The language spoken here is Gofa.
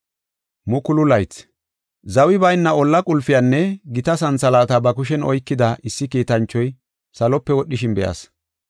Zawi bayna olla qulpiyanne gita santhalaata ba kushen oykida issi kiitanchoy salope wodhishin be7as.